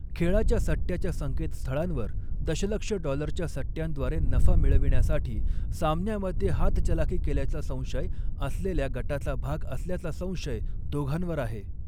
खेळाच्या सट्ट्याच्या संकेतस्थळांवर दशलक्ष डॉलरच्या सट्ट्यांद्वारे नफा मिळविण्यासाठी, सामन्यामध्ये हातचलाखी केल्याचा संशय असलेल्या गटाचा भाग असल्याचा संशय दोघांवर आहे.